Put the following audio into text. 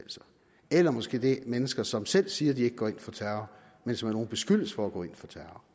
eller måske mennesker som selv siger at de ikke går ind for terror men som af nogle beskyldes for at gå ind for terror